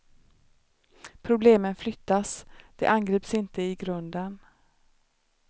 Problemen flyttas, de angrips inte i grunden.